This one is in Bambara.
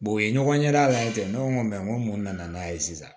u ye ɲɔgɔn ɲɛda labɛn kɛ ne ko n ko mun nana n'a ye sisan